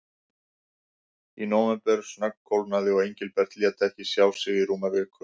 Í nóvember snöggkólnaði og Engilbert lét ekki sjá sig í rúma viku.